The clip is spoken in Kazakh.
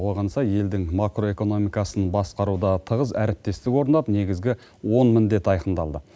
оған сай елдің макроэкономикасын басқаруда тығыз әріптестік орнап негізгі он міндет айқындалды